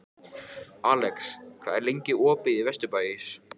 Alex, hvað er lengi opið í Vesturbæjarís?